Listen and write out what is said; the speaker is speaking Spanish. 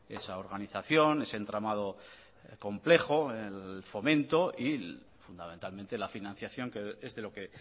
esa organización ese entramado complejo el fomento y fundamentalmente la financiación que es de lo que